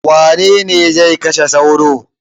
Wane ne zai kashe sauro?